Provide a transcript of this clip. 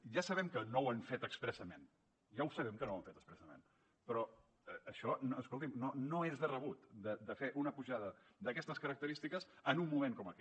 ja sabem que no ho han fet expressament ja ho sabem que no ho ha fet expressament però això escolti’m no és de rebut fer una apujada d’aquestes característiques en un moment com aquest